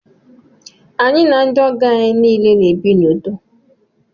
Anyi na ndi ogo anyị niile na ebi na udo